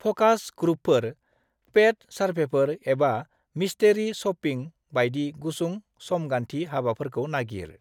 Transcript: फ'कास ग्रुपफोर, पेद सार्भेफोर एबा मिस्टेरि शप्पिं बायदि गुसुं समगान्थि हाबाफोरखौ नागिर।